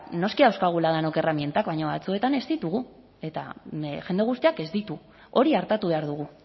noski dauzkagula denok erramintak baina batzuetan ez ditugu eta jende guztiak ez ditu hori artatu behar dugu